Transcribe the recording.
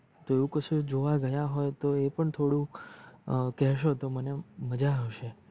તો એવું કસુ જોવા ગયા હોય તો એ પણ થોડુક કેસો તો મને મજા અવસે